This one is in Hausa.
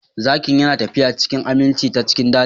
Zakin yana tafiya cikin aminci ta cikin daji